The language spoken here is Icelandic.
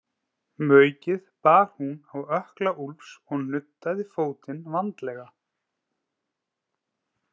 Maukið bar hún á ökkla Úlfs og nuddaði fótinn vandlega.